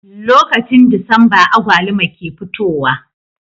Lokacin disamba agwaluma ke fitowa